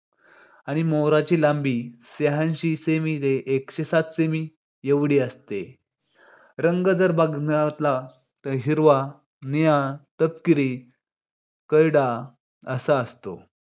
आणि मोराची लांबी शहाऐंशी semi ते एकशे सात semi एवढी असते. रंग जर बघण्यातला तर हिरवा, निळा, तपकिरी, करडा असा असतो